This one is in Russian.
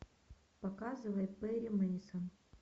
показывай перри мейсон